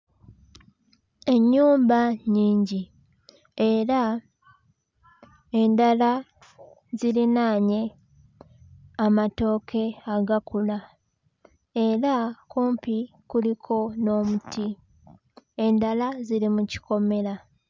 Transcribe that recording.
Ennyumba nnyingi, era endala zirinaanye amatooke agakula. Era kumpi kuliko n'omuti, endala ziri mu kikomera.